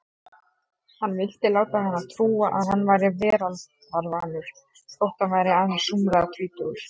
Hann vildi láta hana trúa að hann væri veraldarvanur þótt hann væri aðeins rúmlega tvítugur.